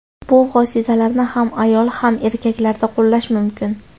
Bu vositalarni ham ayol va ham erkaklarda qo‘llash mumkin.